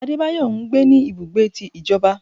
Adébáyọ ńgbé ní ibùgbé tí ìjọba.